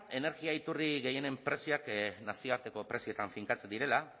energia iturri gehienen prezioak nazioarteko prezioetan finkatzen direla